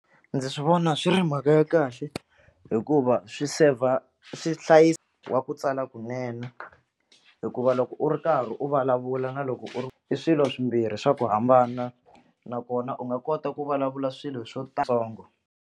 Ndzi swi vona swi ri mhaka ya kahle hikuva swi saver swi hlayisa wa ku tsala kunene hikuva loko u ri karhi u vulavula na loko u ri i swilo swimbirhi swa ku hambana nakona u nga kota ku vulavula swilo swo tsongo.